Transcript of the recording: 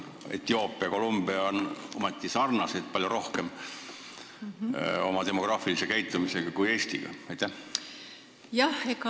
Etioopia ja Colombia sarnanevad demograafilise käitumise poolest omavahel palju rohkem kui Eestiga.